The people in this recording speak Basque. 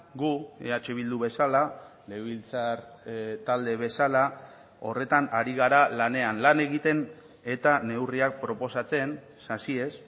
gu eh bildu bezala legebiltzar talde bezala horretan ari gara lanean lan egiten eta neurriak proposatzen sasiez